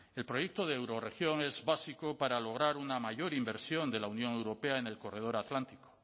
el proyecto de eurorregión es básico para lograr una mayor inversión de la unión europea en el corredor atlántico